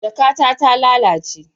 Jakata ta lalace